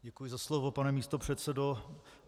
Děkuji za slovo, pane místopředsedo.